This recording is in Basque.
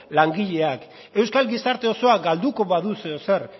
langileak euskal gizarte osoa galduko badu zer edo zer